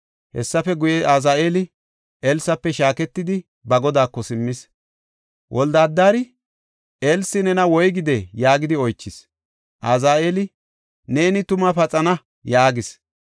Hessafe guye, Azaheeli Elsafe shaaketidi, ba godaako simmis. Wolde-Adari, “Elsi nena woygidee?” yaagidi oychis. Azaheeli, “Neeni tuma paxana” yaagis.